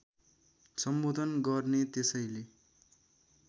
सम्बोधन गर्ने त्यसैले